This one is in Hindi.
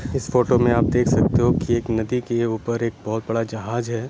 इस फोटो में आप देख सकते हो की एक नदी के ऊपर एक बहुत बड़ा जहाज है।